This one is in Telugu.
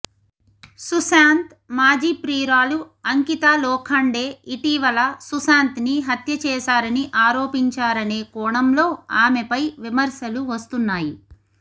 సుశాంత్ మాజీ ప్రియురాలు అంకితా లోఖాండే ఇటీవల సుశాంత్ని హత్య చేశారని ఆరోపించారనే కోణంలో ఆమెపై విమర్శలు వస్తున్నాయి